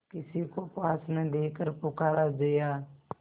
किसी को पास न देखकर पुकारा जया